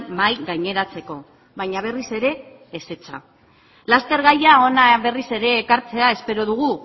mahai gaineratzeko baina berriz ere ezetza laster gaia hona berriz ere ekartzea espero dugu